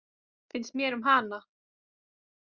Finnst mér um hana?